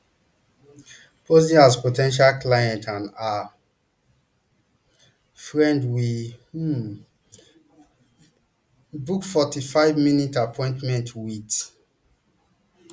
posing as po ten tial client and her friend we um book forty-fiveminute appointment wit